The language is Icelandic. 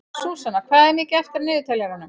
Súsanna, hvað er mikið eftir af niðurteljaranum?